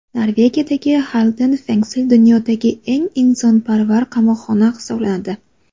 Norvegiyadagi Xalden Fengsel dunyodagi eng insonparvar qamoqxona hisoblanadi.